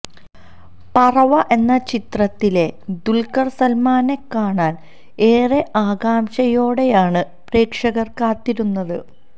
പറവ എന്ന ചിത്രത്തിലെ ദുൽക്കർ സൽമാനെ കാണാന് ഏറെ ആകാംക്ഷയോടെയാണ് പ്രേക്ഷകർ കാത്തിരുന്നത്